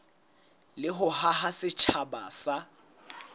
le ho haha setjhaba sa